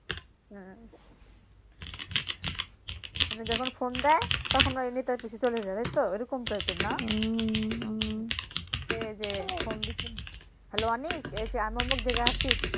উম মানে যখন ফোন দেয় তখন মানে নেতার পিছে চলে যায় তাইতো এইরকম টাইপের না? এইযে হ্যালো আনিক এইযে থেকে আসিফ